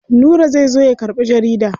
Nura zai zo ya karɓi jarida.